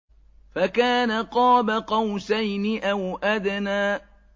فَكَانَ قَابَ قَوْسَيْنِ أَوْ أَدْنَىٰ